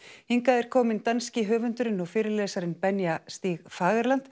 hingað er komin norski höfundurinn og fyrirlesarinn stig